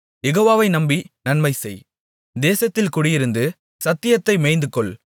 யெகோவாவை நம்பி நன்மைசெய் தேசத்தில் குடியிருந்து சத்தியத்தை மேய்ந்துகொள்